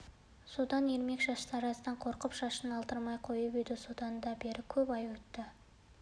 сонда ермек шаштараздан қорқып шашын алдырмай қойып еді содан да бері көп ай өтті